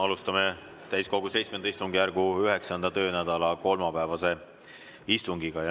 Alustame täiskogu VII istungjärgu 9. töönädala kolmapäevast istungit.